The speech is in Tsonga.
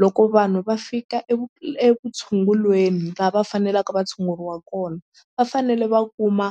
loko vanhu va fika uvutshungulweni la va fanelaka va tshunguriwa kona va fanele va kuma